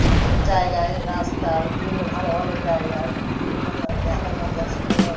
জায়গায় রাস্তার বিভিন্ন ভালো ভালো জায়গার বিভিন্ন দেখার দর্শনীয়